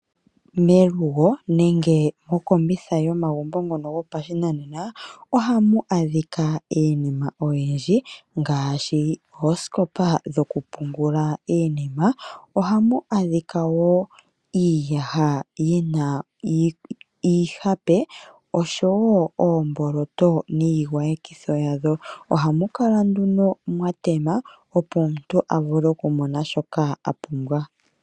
Melugo nenge mokombitha yomagumbo ngono gopashinanena ohamu adhika iinima oyindji ngaashi oosikopa dhokupungula iinima, ohamu adhika wo iiyaha yina iihape osho wo oomboloto niigwayekitho yadho. Omhamukala nduno mwatema opo omuntu avule okumona shoka apumbwa.